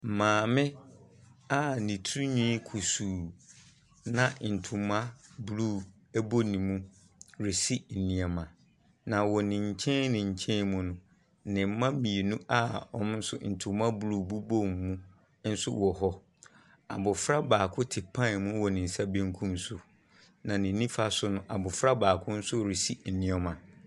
Maame a ne tirinwi kusuu, na ntoma blue bɔ ne mu resi nneɛma. Na wɔ ne nkyɛn ne nkyɛn mu no, ne mma mmienu a wɔn nso ntoma blue bobɔ wɔn mu nso wɔ hɔ. Abɔfra baako te pan mu wɔn ne nsa benkum so, Na ne nifa so no, abɔfra baako nso resi nneɛma.